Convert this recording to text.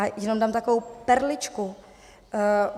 A jenom dám takovou perličku.